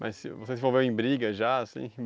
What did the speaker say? Mas você se envolveu em briga já, assim?